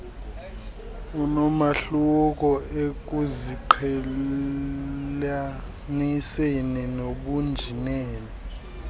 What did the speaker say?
onomahluko ekuziqhelaniseni nobunjineli